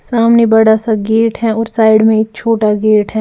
सामने बड़ा सा गेट है और साइड में एक छोटा गेट है।